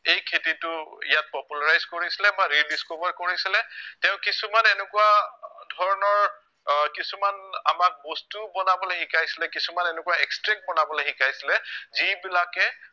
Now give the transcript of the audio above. এই খেতিটো ইয়াত popularise কৰিছিলে বা rediscover কৰিছিলে, তেওঁ কিছুমান এনেকুৱা ধৰণৰ আহ কিছুমান আমাক বস্তুও বনাবলে শিকাইছিলে, কিছুমান এনেকুৱা extract বনাবলে শিকাইছিলে যিবিলাকে